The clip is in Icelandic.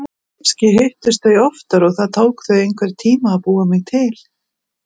Kannski hittust þau oftar og það tók þau einhvern tíma að búa mig til.